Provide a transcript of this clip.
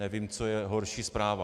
Nevím, co je horší zpráva.